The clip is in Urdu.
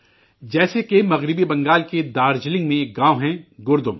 جیسے کہ مغربی بنگال کے دارجلنگ میں ایک گاؤں ہے گردم